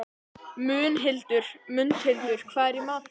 Mundhildur, hvað er í matinn?